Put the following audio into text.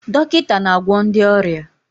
Dọkịta na-agwọ ndị ọrịa.